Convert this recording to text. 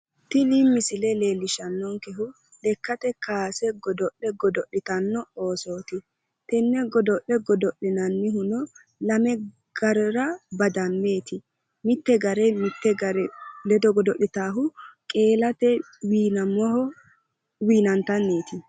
Tini misile leellishshannonkehu lekkate kowaase godo'le godo'litanno Oosooti, tenne godo'le godo'linannihu lame garera badameeti. mitte gare mitte gare ledo godo'litaahu qeelate wiinamaho wiinantanniiti.